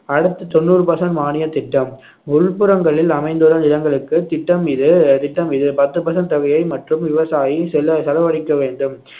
அடுத்து தொண்ணூறு percent மானியத் திட்டம் உள்புறங்களில் அமைந்துள்ள நிலங்களுக்கு திட்டம் இது திட்டம் இது பத்து percent தொகையை மட்டும் விவசாயி செல~ செலவழிக்க வேண்டும்